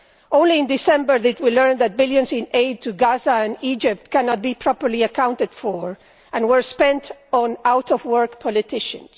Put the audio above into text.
Only in December did we learn that billions in aid to Gaza and Egypt cannot be properly accounted for, having been spent on out of work politicians.